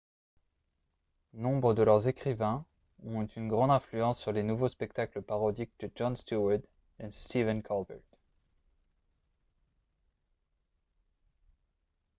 nombre de leurs écrivains ont eu une grande influence sur les nouveaux spectacles parodiques de jon steward et stephen colbert